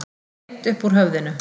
Beint upp úr höfðinu.